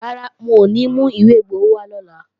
Rárá, wọn ò ní mú ìwé igbowó wá lọ́la